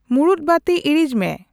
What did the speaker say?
ᱢᱩᱲᱩᱫ ᱵᱟᱹᱛᱤ ᱤᱲᱤᱡ ᱢᱮ